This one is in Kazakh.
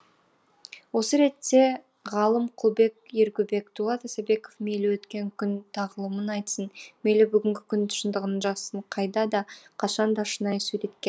осы ретте ғалым құлбек ергөбек дулат исабеков мейлі өткен күн тағылымын айтсын мейлі бүгінгі күн шындығын жазсын қайда да қашан да шынайы суреткер